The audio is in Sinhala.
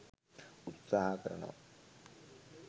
උත්සාහ කරනවා.